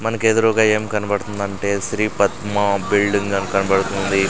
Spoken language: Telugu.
మనకెదురూగా ఏం కనబడుతుందంటే శ్రీ పద్మ బిల్డింగ్ అని కనబడుతుంది.